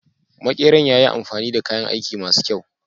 Makeran ya yi amfani da kayan aiki ma su kyau.